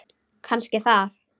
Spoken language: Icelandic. Kannski það.